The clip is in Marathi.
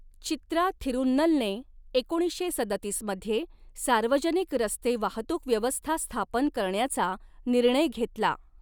चित्रा थिरुन्नलने एकोणीसशे सदतीस मध्ये सार्वजनिक रस्ते वाहतूक व्यवस्था स्थापन करण्याचा निर्णय घेतला.